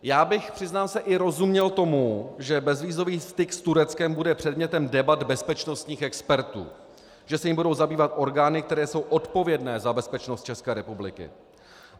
Já bych, přiznám se, i rozuměl tomu, že bezvízový styk s Tureckem bude předmětem debat bezpečnostních expertů, že se jím budou zabývat orgány, které jsou odpovědné za bezpečnost České republiky.